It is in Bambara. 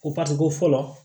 O ko fɔlɔ